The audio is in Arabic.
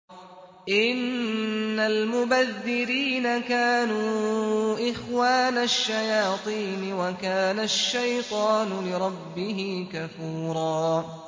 إِنَّ الْمُبَذِّرِينَ كَانُوا إِخْوَانَ الشَّيَاطِينِ ۖ وَكَانَ الشَّيْطَانُ لِرَبِّهِ كَفُورًا